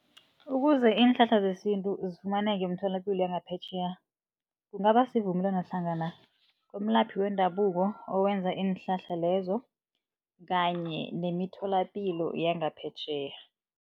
Ukuze iinhlahla zesintu zifumaneka emitholapilo yangaphetjheya, kungaba sivumelwano hlangana kumlaphi wendabuko owenza iinhlahla lezo kanye nemitholapilo yangaphetjheya.